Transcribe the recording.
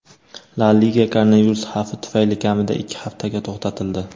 La Liga koronavirus xavfi tufayli kamida ikki haftaga to‘xtatildi.